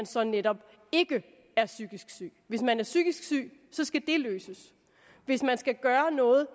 så netop ikke er psykisk syg hvis man er psykisk syg skal det løses hvis man skal gøre noget